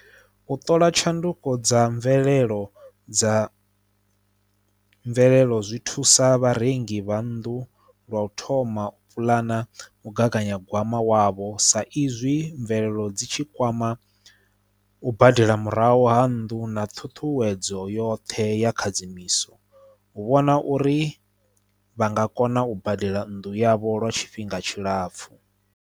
U ṱola tshanduko dza mvelelo dza mvelelo zwi thusa vharengi vha nnḓu lwa u thoma u puḽana mugaganyagwama wavho sa izwi mvelelo dzi tshi kwama u badela murahu ha nnḓu na ṱhuṱhuwedzo yoṱhe ya khadzimiso u vhona uri vha nga kona u badela nnḓu yavho lwa tshifhinga tshilapfhu.